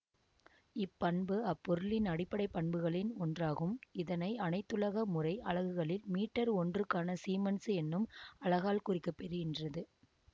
இப்பண்பு அப்பொருளின் அடிப்படை பண்புகளின் ஒன்றாகும் இதனை அனைத்துலக முறை அலகுகளில் மீட்டர் ஒன்றுக்கான சீமன்சு என்னும் அலகால் குறிக்க பெறுகின்றது